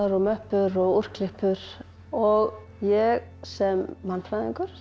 möppur og úrklippur og ég sem mannfræðingur